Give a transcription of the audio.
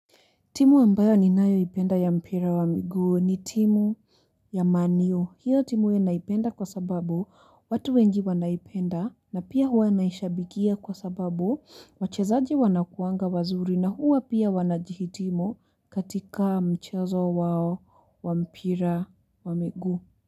Timu ambayo ninayoipenda ya mpira wa miguu ni timu ya man u. Hiyo timu naipenda kwa sababu watu wengi wanaipenda na pia huwa naishabikia kwa sababu wachezaji wanakuanga wazuri na huwa pia wanajihitimu katika mchezo wao wa mpira wa miguu.